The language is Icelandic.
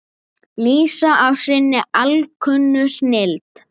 lýsa af sinni alkunnu snilld.